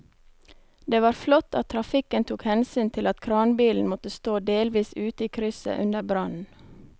Det var flott at trafikken tok hensyn til at kranbilen måtte stå delvis ute i krysset under brannen.